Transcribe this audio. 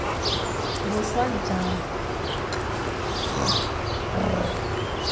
boswa jang k g r